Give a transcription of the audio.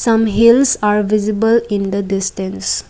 some hills are visible in the distance.